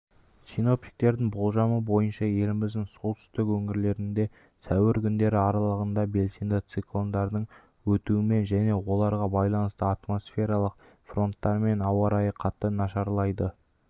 синоптиктердің болжамы бойынша еліміздің солтүстік өңірлерінде сәуір күндері аралығында белсенді циклондардың өтуімен және оларға байланысты атмосфералық фронттармен ауа райы қайта нашарлайды